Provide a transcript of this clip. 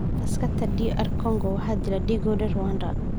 Askarta DR Congo waxaa dilay dhiggooda Rwanda